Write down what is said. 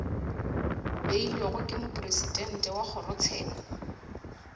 beilwego ke mopresidente wa kgorotsheko